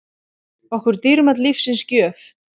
okkur dýrmæt lífsins gjöf.